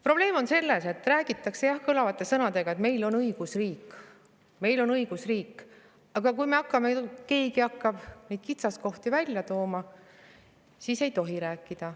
Probleem on selles, et räägitakse kõlavate sõnadega, et meil on õigusriik, meil on õigusriik, aga kui keegi hakkab kitsaskohti välja tooma, siis ei tohi sellest rääkida.